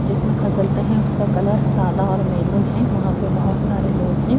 جس میں کسلتے ہیں اس کا کلر سادہ اور محروم ہیں وہاں پر بہت سارے لوگ ہیں-